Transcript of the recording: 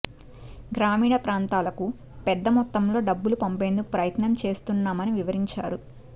గ్రామీణ ప్రాంతాలకు పెద్ద మొత్తంలో డబ్బులు పంపేందుకు ప్రయత్నం చేస్తున్నామని వివరించారు